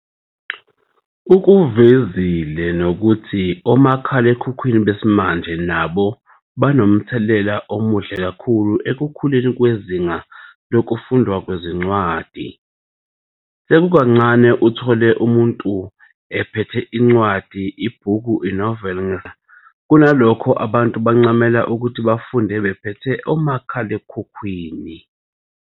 ukuvezile nokuthi omakhalekukhwini besimanje nabo banomthelela omuhle kakhulu ekukhuleni kwezinga lokundwa kwezincwadi, sekukancane uthole umuntu ephethe incwadi, ibhuku, inoveli ngesandla kunalokho abantu bancamela ukuthi befunde bephethe omakhalekhukhwini.